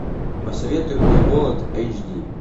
посоветуй мне голод эйч ди